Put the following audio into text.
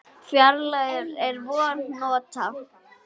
Fræið er vængjuð hnota.